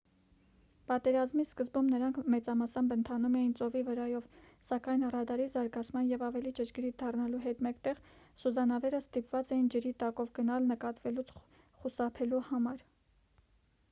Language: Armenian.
պատերազմի սկզբում նրանք մեծամասամբ ընթանում էին ծովի վրայով սակայն ռադարի զարգացման և ավելի ճշգրիտ դառնալու հետ մեկտեղ սուզանավերը ստիպված էին ջրի տակով գնալ նկատվելուց խուսափելու համար